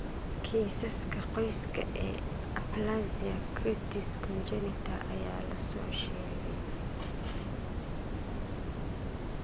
Kiisaska qoyska ee aplasia cutis congenita ayaa la soo sheegay.